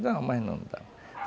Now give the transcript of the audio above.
Não, mais não dá.